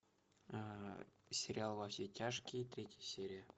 сериал во все тяжкие третья серия